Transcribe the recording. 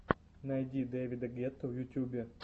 найди дэвида гетту в ютьюбе